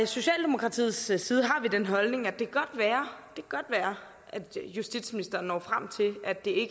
socialdemokratiets side har vi den holdning at det godt kan være at justitsministeren når frem til at det